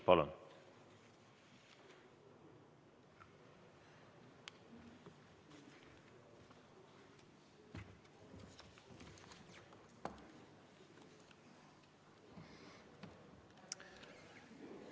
Palun!